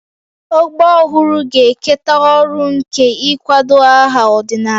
Ọgbọ ọhụrụ ga-eketa ọrụ nke ịkwado aha ọdịnala